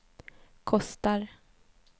kostar